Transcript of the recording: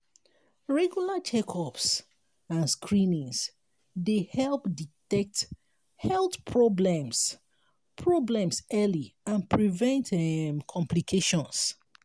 regular check-ups and screenings dey help detect health problems problems early and prevent um complications.